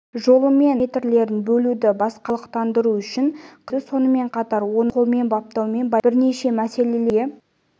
жолымен параметрлерін бөлуді басқару мен орталықтандыру үшін қызмет етеді сонымен қатар оны пайдалану қолмен баптаумен байланысты бірнеше мәселелерді шешуге